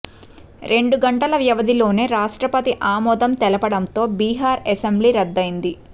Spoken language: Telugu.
రెండు గంటల వ్యవధిలోనే రాష్ట్రపతి ఆమోదం తెలుపడంతో బిహార్ అసెంబ్లీ రద్దయింది